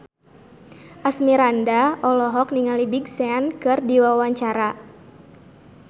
Asmirandah olohok ningali Big Sean keur diwawancara